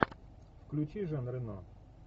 включи жан рено